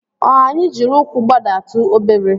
O anyị jiri ụkwụ gbadatu obere?